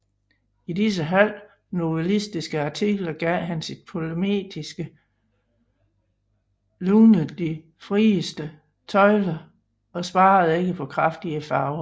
I disse halvt novellistiske artikler gav han sit polemiske lune de frieste tøjler og sparede ikke på kraftige farver